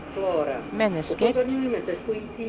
mennesker